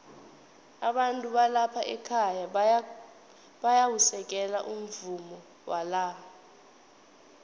abantu balapha ekhaya bayawusekela umvumo wala